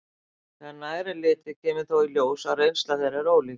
Þegar nær er litið kemur þó í ljós að reynsla þeirra er ólík.